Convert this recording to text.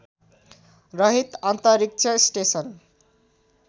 रहित अन्तरिक्ष स्टेसन